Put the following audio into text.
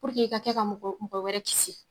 Puruke e ka kɛ ka mɔgɔ wɛrɛ kisi